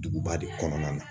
Duguba de kɔnɔna na